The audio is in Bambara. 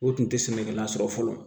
O tun tɛ sɛnɛkɛla sɔrɔ fɔlɔ